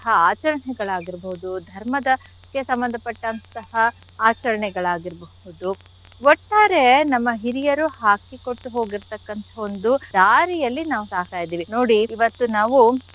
ಆಚರಣೆಗಳಾಗಿರ್ಬೋದು ಧರ್ಮದಕ್ಕೆ ಸಂಬಂಧ ಪಟ್ಟಂಥಹ ಆಚರಣೆಗಳಾಗಿರ್ಬಹುದು ಒಟ್ಟಾರೆ ನಮ್ಮ ಹಿರಿಯರು ಹಾಕಿಕೊಟ್ಟು ಹೋಗಿರ್ತಕ್ಕಂಥ ಒಂದು ದಾರಿಯಲ್ಲಿ ನಾವು ಸಾಗ್ತಾ ಇದೀವಿ ನೋಡಿ ಇವತ್ತು ನಾವು.